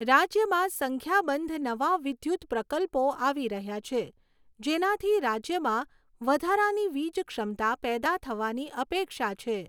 રાજ્યમાં સંખ્યાબંધ નવા વિદ્યુત પ્રકલ્પો આવી રહ્યા છે, જેનાથી રાજ્યમાં વધારાની વીજ ક્ષમતા પેદા થવાની અપેક્ષા છે.